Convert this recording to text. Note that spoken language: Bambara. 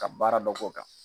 Ka baara dɔ k'o kan.